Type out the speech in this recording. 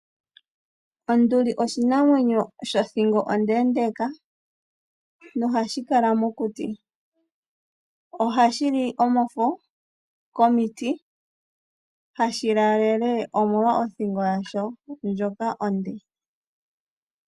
Onduli oshinamwenyo sho thingo ondeendeka nohashi kala mokuti. Ohashi li omafo komiti, hashi laalele omolwa othingo yasho ndjoka onde.